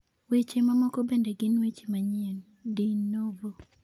Weche mamoko bende gin weche manyien (de novo).